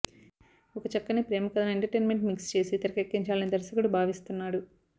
ఒక చక్కని ప్రేమకథను ఎంటర్టైన్మెంట్ మిక్స్ చేసి తెరకెక్కించాలని దర్శకుడు భావిస్తున్నాడు